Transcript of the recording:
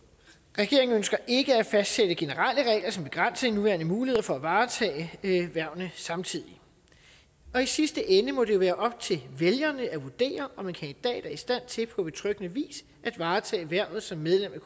regeringen ønsker ikke at fastsætte generelle regler som begrænser de nuværende muligheder for at varetage hvervene samtidig og i sidste ende må det jo være op til vælgerne at vurdere om en kandidat er i stand til på betryggende vis at varetage hvervet som medlem af